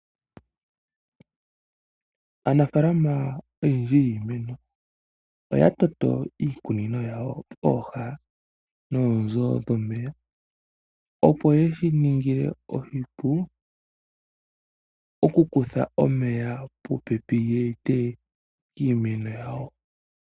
Aanafalama oyendji oya toto iikunino yawo pooha noonzo dhomeya . Opo ye shi ninge oshipu oku kutha omeya popepi ya ete kiimeno yawo.